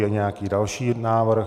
Je nějaký další návrh?